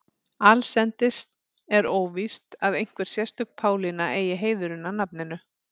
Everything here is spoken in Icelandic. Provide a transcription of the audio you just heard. Allsendis er óvíst að einhver sérstök Pálína eigi heiðurinn að nafninu.